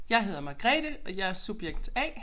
Jeg hedder Margrethe og jeg er subjekt A